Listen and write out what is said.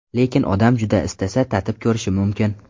Lekin odam juda istasa, tatib ko‘rishi mumkin.